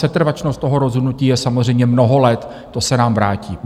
Setrvačnost toho rozhodnutí je samozřejmě mnoho let, to se nám vrátí.